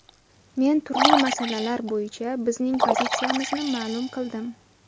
Men turli masalalar bo‘yicha bizning pozitsiyamizni ma’lum qildim.